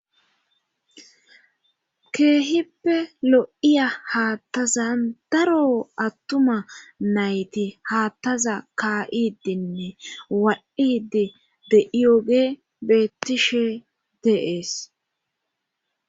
keehippe lo7iya haattazan daro attuma nayti haattaza kaa7idenne wa7idi de iyoge bettishe deees